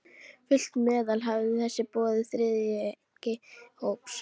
Fullt meðlag hafði verið boðið með þriðjungi þess hóps.